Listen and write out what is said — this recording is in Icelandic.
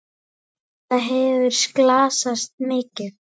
Hvort það hefði slasast mikið.